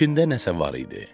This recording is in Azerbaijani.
İçində nəsə var idi.